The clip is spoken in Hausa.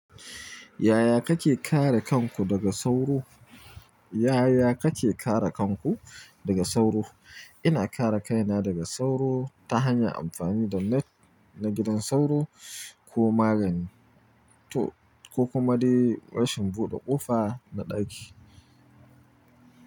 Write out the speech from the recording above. Yaya kake kare kanku daga sauro? Yaya kake kare kanku daga sauro? Ina kare kaina daga sauro ta hanyar amfani da net na gidan sauro ko magani, ko kuma dai rashin buɗe ƙofa na ɗaki.